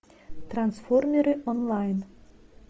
трансформеры онлайн